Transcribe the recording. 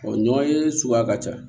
ɲɔ ye suguya ka ca